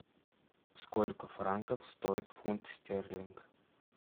сколько франков стоит фунт стерлинг